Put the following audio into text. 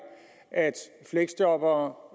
at fleksjobbere